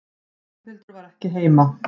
Ragnhildur var ekki heima.